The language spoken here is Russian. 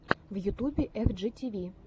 в ютубе эф джи ти ви